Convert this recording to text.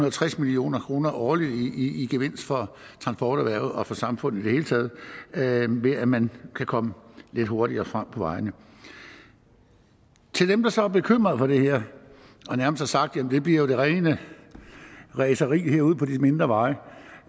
og tres million kroner årligt i gevinst for transporterhvervet og for samfundet i det hele taget ved at man kan komme lidt hurtigere frem på vejene til dem der så er bekymret for det her og nærmest har sagt at det bliver det rene racerkørsel ude på de mindre veje